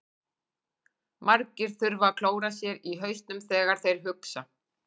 Margir þurfa að klóra sér í hausnum þegar þeir hugsa.